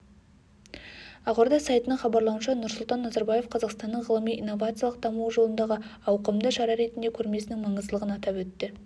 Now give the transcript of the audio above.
ақорда сайтының хабарлауынша нұрсұлтан назарбаев қазақстанның ғылыми-инновациялық дамуы жолындағы ауқымды шара ретінде көрмесінің маңыздылығын атап өтті